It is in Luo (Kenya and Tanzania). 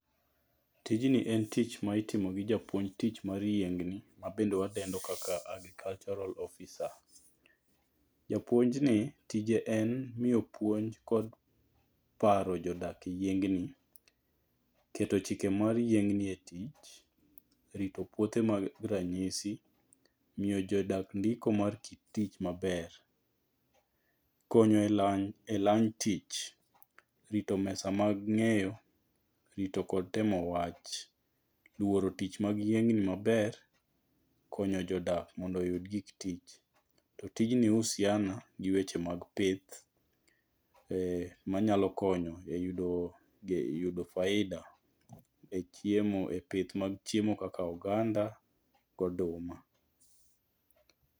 Tijni en tich ma itimo gi japuonj tich mar yiengni ma be wadendo kaka agricultural officer. Japuonjni tije en miyo puonj kod paro jodak yiengni. Keto chike mag yiengni e tich. Rito puothe mag ranyisi. Miyo jodak ndiko mar tich maber. Konyo e lany tich. Rito mesa mag ng'enyo. Rito kod temo wach. Luoro tich mag yieng'ni maber. Konyo jodak mondo oyud gik tich. To tijni husiana gi wech e mag pith manyalo konyo e yudo faida e chiemo e pith mag chiemo kaka oganda go goduma.